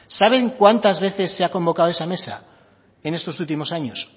saben cuántas veces se ha convocado esa mesa en estos últimos años